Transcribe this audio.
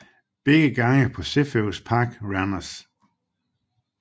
Begge gange på Cepheus Park Randers